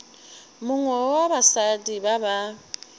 mongwe wa basadi ba ba